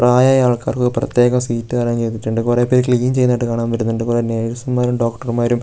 പ്രായമായ ആൾക്കാർക്ക് ഒക്കെ എല്ലാം പ്രത്യേകം സീറ്റ് അറേഞ്ച് ചെയ്തിട്ടുണ്ട് കുറെ പേര് ക്ലീൻ ചെയ്യുന്നത് ആയിട്ട് കാണാൻ പറ്റുന്നുണ്ട് കുറേ നേഴ്സ്മാരും ഡോക്ടർമാരും --